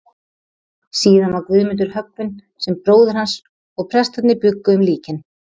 Síðan var Guðmundur höggvinn sem bróðir hans, og prestarnir bjuggu um líkin.